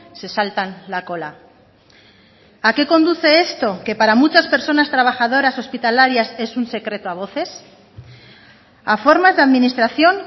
se saltan la cola a qué conduce esto que para muchas personas trabajadoras hospitalarias es un secreto a voces a formas de administración